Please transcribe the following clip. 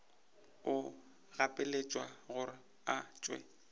o gapeletšwa gore o tšwe